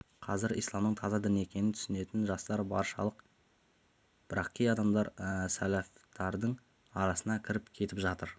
қазір исламның таза дін екенін түсініетін жастар баршылық бірақ кей адамдар сәлафтардың арасына кіріп кетіп жатыр